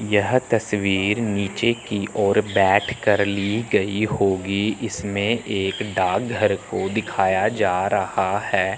यह तस्वीर नीचे की ओर बैठकर ली गई होगी इसमें एक डाकघर को दिखाया जा रहा है।